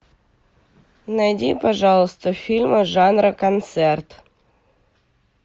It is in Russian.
найди пожалуйста фильмы жанра концерт